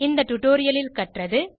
இந்த tutorialலில் கற்றது